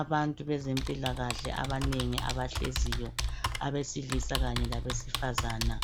abantu bezempilakahle abanengi abahleziyo abesilisa kanye labesifazana